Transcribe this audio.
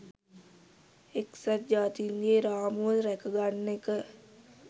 එක්සත් ජාතීන්ගේ රාමුව රැකගන්න එක